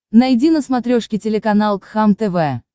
найди на смотрешке телеканал кхлм тв